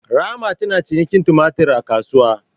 Rahma tana cinikin tumatur a kasuwa